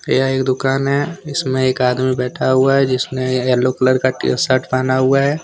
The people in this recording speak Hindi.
यह एक दुकान है इसमें एक आदमी बैठा हुआ है जिसने येलो कलर का टी शर्ट पहना हुआ है।